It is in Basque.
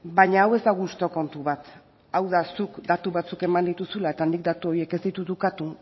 baina hau ez da gustu kontu bat hau da zuk datu batzuk eman dituzula eta nik datu horiek ez ditut ukatu